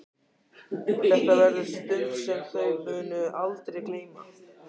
Þetta verður stund sem þau munu aldrei gleyma.